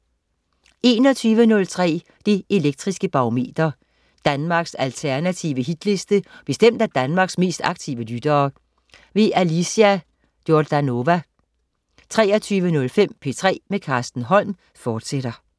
21.03 Det Elektriske Barometer. Danmarks alternative Hitliste bestemt af Danmarks mest aktive lyttere. Alicia Jordanova 23.05 P3 med Carsten Holm, fortsat